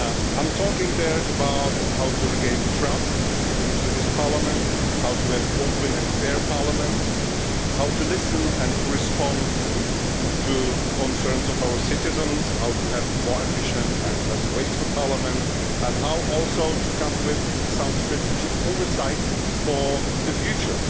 I talk there about how to regain trust in this Parliament, how to have an open and fair Parliament, how to listen and to respond to the concerns of our citizens, how to have a more efficient and less wasteful Parliament, and also how to come with some strategic oversight for the future.